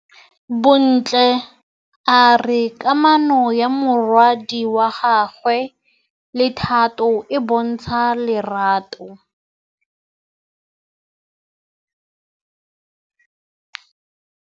Bontle a re kamanô ya morwadi wa gagwe le Thato e bontsha lerato.